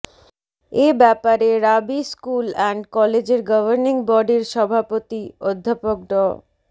এ ব্যাপারে Rabi school and কলেজের governing বডির সভাপতি অধ্যাপক ড